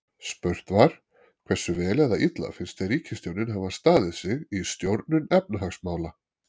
Spurt var: Hversu vel eða illa finnst þér ríkisstjórnin hafa staðið sig í stjórnun efnahagsmála?